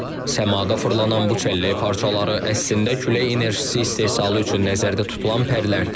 Səmada fırlanan bu çəllək parçaları əslində külək enerjisi istehsalı üçün nəzərdə tutulan pərlərdir.